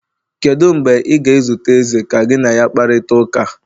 Kedu mgbe ị ga-ezute eze ka gị na ya kparịta ụka?